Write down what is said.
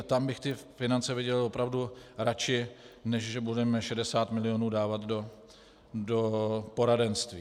A tam bych ty finance viděl opravdu radši, než že budeme 60 milionů dávat do poradenství.